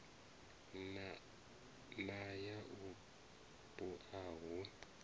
na ya u bua hu